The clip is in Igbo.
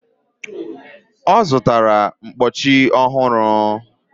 ọ zụtara mkpọchi ọhụrụ